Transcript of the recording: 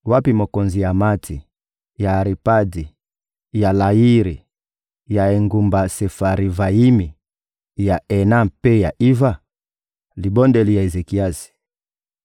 Wapi mokonzi ya Amati, ya Aripadi, ya Layiri, ya engumba Sefarivayimi, ya Ena mpe ya Iva?›» Libondeli ya Ezekiasi